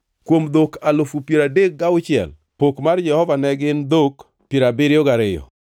kuom dhok alufu piero adek gauchiel (36,000), pok mar Jehova Nyasaye ne gin dhok piero abiriyo gariyo (72);